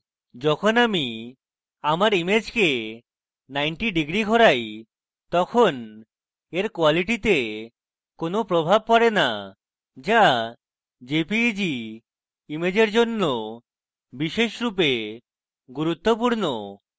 যখন আমি আমার image 90 degrees ঘোরাই তখন when quality কোনো প্রভাব পরে না যা jpeg ইমেজের জন্য বিশেষরূপে গুরুত্বপূর্ণ